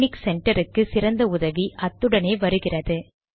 technique centre க்கு சிறந்த உதவி அத்துடனே வருகிறது